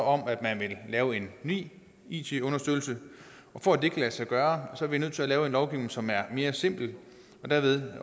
om at man vil lave en ny it understøttelse og for at det kan lade sig gøre er vi nødt til at lave en lovgivning som er mere simpel og derved